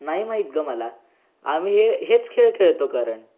नाही माहित ग मला आम्ही हो हेच खेळ खेळतो कारण